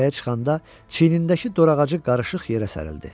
Təpəyə çıxanda çiynindəki dorağacı qarışıq yerə sərildi.